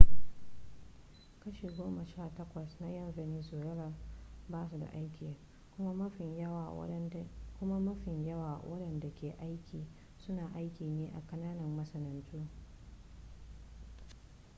kashi goma sha takwas na ƴan venezuela ba su da aiki kuma mafi yawan waɗanda ke da aiki suna aiki ne a kananan masana'antu